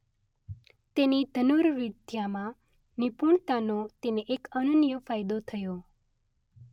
તેની ધનુર્વિદ્યામાં નિપુણતાનો તેને એક અનન્ય ફાયદો થયો.